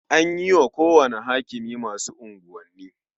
An yi wa kowane hakimi masu unguwanni.